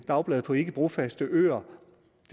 dagblade på ikke brofaste øer